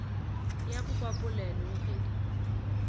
ya popapolelo le ge di